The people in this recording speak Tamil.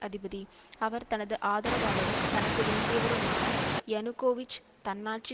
அதிபதி அவர் தனது ஆதரவாளரும் தனக்கு வேண்டியவருமான யனுகோவிச் தன்னாட்சி